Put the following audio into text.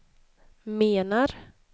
menar